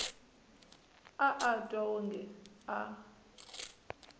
a a twa wonge a